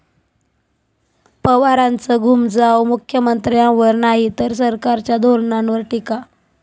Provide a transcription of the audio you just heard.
पवारांचं घुमजाव, 'मुख्यमंत्र्यांवर नाही, तर सरकारच्या धोरणांवर टीका'